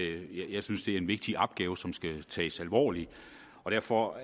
jeg synes at det er en vigtig opgave som skal tages alvorligt og derfor